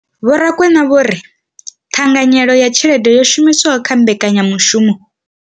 Vho Rakwena vho ri ṱhanganyelo ya tshelede yo shumiswaho kha mbekanyamushumo.